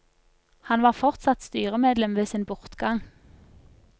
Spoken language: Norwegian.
Han var fortsatt styremedlem ved sin bortgang.